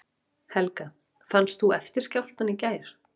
Helga: Fannst þú eftirskjálftann í gær?